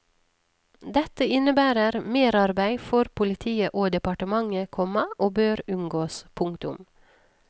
Dette innebærer merarbeid for politiet og departementet, komma og bør unngås. punktum